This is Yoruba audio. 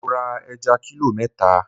Mo ra ẹja kílò mẹ́ta.